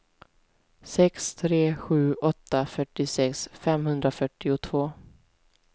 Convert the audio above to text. sex tre sju åtta fyrtiosex femhundrafyrtiotvå